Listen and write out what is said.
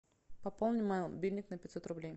пополни мой мобильник на пятьсот рублей